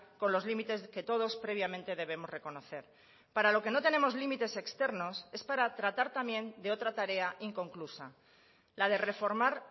con los límites que todos previamente debemos reconocer para lo que no tenemos límites externos es para tratar también de otra tarea inconclusa la de reformar